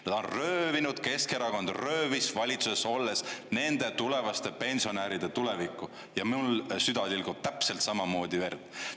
Nad on röövinud, Keskerakond röövis valitsuses olles nende tulevaste pensionäride tuleviku ja mul süda tilgub täpselt samamoodi verd.